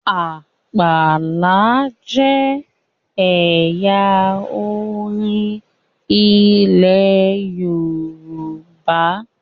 Àpàlà jẹ ẹyà orin ilẹ Yorùbá